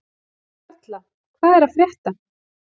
Karla, hvað er að frétta?